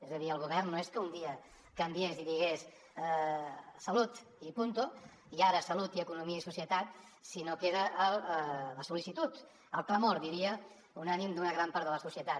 és a dir el govern no és que un dia canviés i digués salut i punt i ara salut i economia i societat sinó que era la sol·licitud el clamor diria unànime d’una gran part de la societat